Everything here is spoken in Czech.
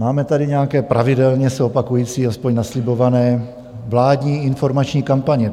Máme tady nějaké pravidelně se opakující, alespoň naslibované, vládní informační kampaně.